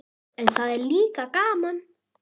En það er líka gaman.